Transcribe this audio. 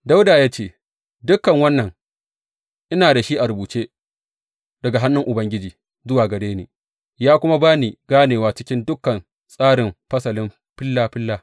Dawuda ya ce, Dukan wannan, ina da shi a rubuce daga hannun Ubangiji zuwa gare ni, ya kuma ba ni ganewa cikin dukan tsarin fasalin, filla filla.